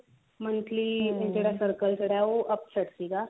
monthly ਜਿਹੜਾ circle ਸੀਗਾ ਉਹ upset ਸੀਗਾ